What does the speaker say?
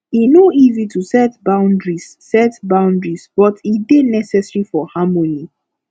e no easy to set boundaries set boundaries but e dey necessary for harmony